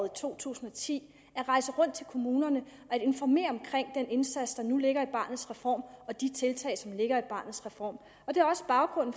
to tusind og ti at rejse rundt til kommunerne og informere om den indsats der nu ligger i barnets reform og de tiltag som ligger i barnets reform det er også baggrunden